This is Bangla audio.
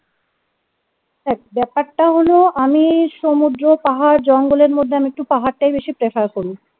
দেখ ব্যাপারটা হলো আমি সমুদ্র পাহাড় জঙ্গলের মধ্যে আমি একটু পাহাড়টাই বেশি prefer করি